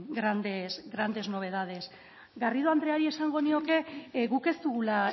grandes novedades garrido andreari esango nioke guk ez dugula